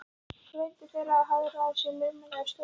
Svo reyndu þeir að hagræða sér laumulega í stólunum.